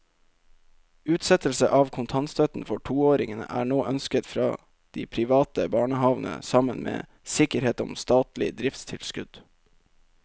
Utsettelse av kontantstøtten for toåringene er nå ønsket fra de private barnehavene sammen med sikkerhet om statlig driftstilskudd.